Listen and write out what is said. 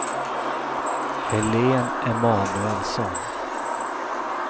Helene Emanuelsson